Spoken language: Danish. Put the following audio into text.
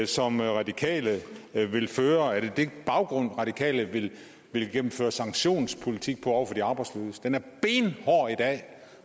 som radikale vil føre er det den baggrund radikale vil føre sanktionspolitik på over for de arbejdsløse den er benhård i dag